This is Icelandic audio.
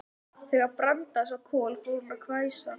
Þegar Branda sá Kol fór hún að hvæsa.